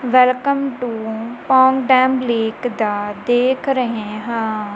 Welcome to town dam lake ਦਾ ਦੇਖ ਰਹੇ ਹਾਂ।